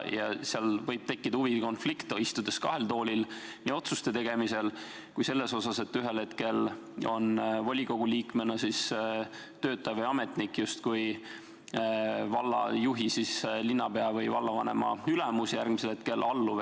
Seal võib tekkida huvide konflikt, istudes kahel toolil, seda nii otsuste tegemisel kui ka selles mõttes, et ühel hetkel on volikogu liikmena töötav ametnik justkui juhi ehk linnapea või vallavanema ülemus, järgmisel hetkel alluv.